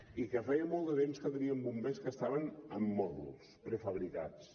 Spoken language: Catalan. i que feia molt de temps que teníem bombers que estaven en mòduls prefabricats